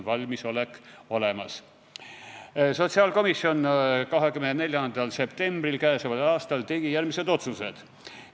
24. septembril tegi sotsiaalkomisjon järgmised otsused.